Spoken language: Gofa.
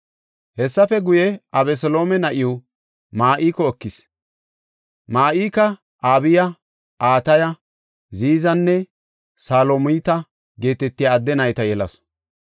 Hessafe guye, Abeseloome na7iw Ma7iko ekis; Ma7ika Abiya, Ataya, Ziizanne Salomita geetetiya adde nayta yelasu.